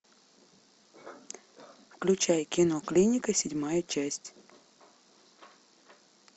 включай кино клиника седьмая часть